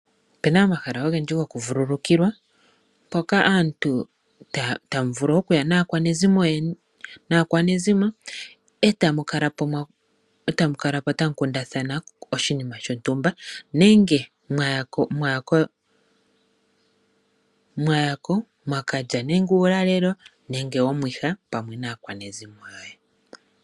Opena omahala ogendji go kuvulukiwa mpoka aantu tamu vulu okuya naakwanezimo , eta mukalapo tamu kundathana oshinima shontumba nenge mwayako mwa kalya nenge uulalelo nenge omwiha pamwe naakwanezimo yoye.